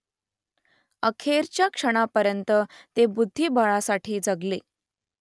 अखेरच्या क्षणापर्यंत ते बुद्धिबळासाठी जगले